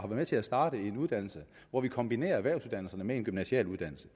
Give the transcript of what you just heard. med til at starte en uddannelse hvor vi kombinerer erhvervsuddannelserne med en gymnasial uddannelse